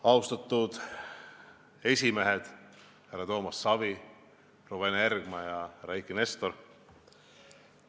Austatud esimehed härra Toomas Savi, proua Ene Ergma ja härra Eiki Nestor!